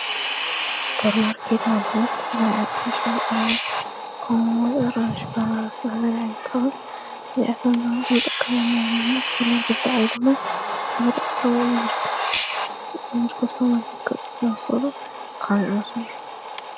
ስጶር ማርከት መልሀት በልዕቓሽ ወዕር ሞድ ርንሽ ብሓናስተበገለኣይታዉን ብዚኣቶም ዝዋ ኽምጠቕከበንበነና ዝፈር ወርጌት ተዓዱበል ሰብጥባሮ ምር ምዘርከ ስ ዋርከት ቀፁ ስበንኮሉ ኻንወሱን።